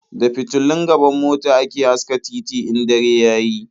Da fitulun gaban mota ake haska titi in dare ya yi.